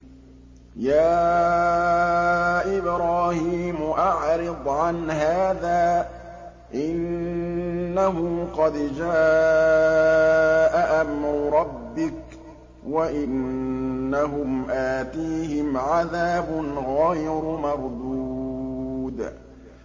يَا إِبْرَاهِيمُ أَعْرِضْ عَنْ هَٰذَا ۖ إِنَّهُ قَدْ جَاءَ أَمْرُ رَبِّكَ ۖ وَإِنَّهُمْ آتِيهِمْ عَذَابٌ غَيْرُ مَرْدُودٍ